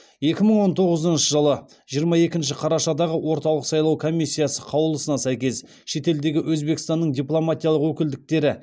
екі мың он тоғызыншы жылғы жиырма екінші қарашадағы орталық сайлау комиссиясы қаулысына сәйкес шетелдегі өзбекстанның дипломатиялық өкілдіктері